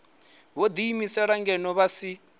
vho ḓiimiselaho ngeno vha si